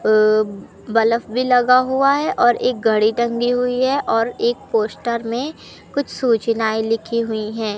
अह bulb भी लगा हुआ है और एक घड़ी टंगी हुई है और एक पोस्टर में कुछ सूचनाएं लिखी हुई हैं।